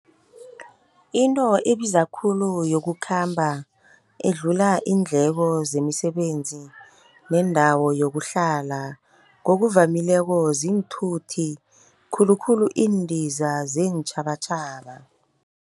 Into ebiza khulu yokukhamba, edlula iindleko zemisebenzi neendawo yokuhlala, ngokuvamileko ziinthuthi khulukhulu iindiza zeentjhabatjhaba.